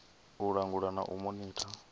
u langulwa na u monitha